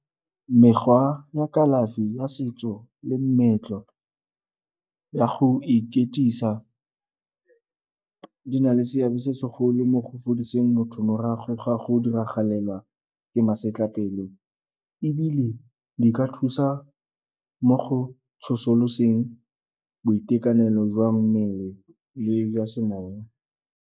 Mekgwa ya kalafi ya setso le meetlo ya go di na le seabe se segolo mo go fodiseng motho morago ga go diragalela ke masetlapelo ebile di ka thusa mo go tsosoloseng boitekanelo jwa mmele le jwa semowa.